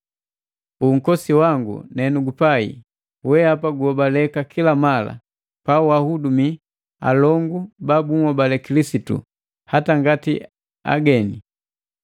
Unkosi wangu nenugupai, wehapa guhobaleka kila mala pawahudumii alongu ba bunhobale Kilisitu, hata ngati ageni.